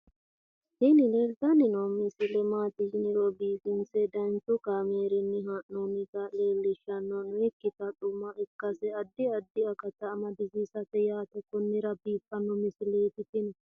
tini leeltanni noo misile maaati yiniro biifinse danchu kaamerinni haa'noonnita leellishshanni nonketi xuma ikkase addi addi akata amadaseeti yaate konnira biiffanno misileeti tini